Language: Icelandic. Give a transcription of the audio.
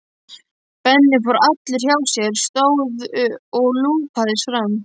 Benni fór allur hjá sér, stóð upp og lúpaðist fram.